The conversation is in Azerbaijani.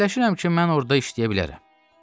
Fikirləşirəm ki, mən orada işləyə bilərəm.